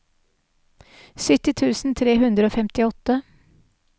sytti tusen tre hundre og femtiåtte